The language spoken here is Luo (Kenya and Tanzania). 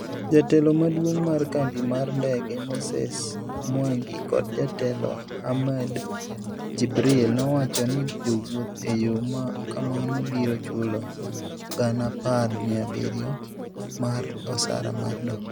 Jatelo maduong' mar kambi mar ndege Moses Mwangi kod jatelo Ahmed Jibril nowacho ni jowuoth e yo ma kamano biro chulo Sh10,700 mar osara mar dok.